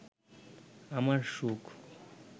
আমার সুখ